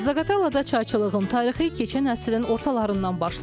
Zaqatalada çayçılığın tarixi keçən əsrin ortalarından başlayır.